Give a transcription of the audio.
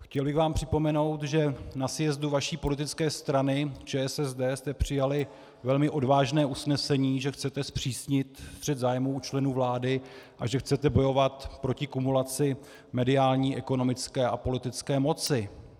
Chtěl bych vám připomenout, že na sjezdu vaší politické strany ČSSD jste přijali velmi odvážné usnesení, že chcete zpřísnit střet zájmů u členů vlády a že chcete bojovat proti kumulaci mediální, ekonomické a politické moci.